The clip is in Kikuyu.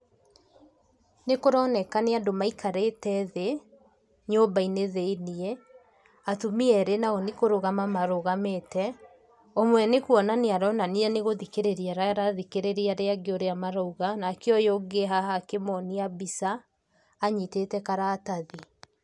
Nĩkũroneka nĩ andũ maikarĩte thĩ, nyũmbainĩ thĩiniĩ, atumia erĩ nao nĩkũrũgama marũgamĩte, ũmwe nĩkũonania aronania nĩgũthikĩrĩria arathikĩrĩria arĩa angi ũrĩa maroiga, nake ũyũ ũngĩ e haha akĩmonia mbica, anyitĩte karatathi.